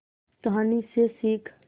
कहानी से सीख